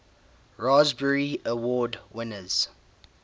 raspberry award winners